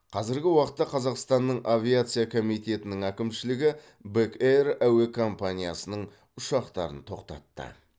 қазіргі уақытта қазақстанның авиация комитетінің әкімшілігі бек эйр әуе компаниясының ұшақтарын тоқтатты